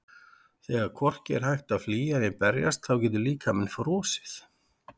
Þegar hvorki er hægt að flýja né berjast þá getur líkaminn frosið.